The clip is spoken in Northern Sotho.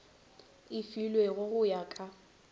e filwego go ya ka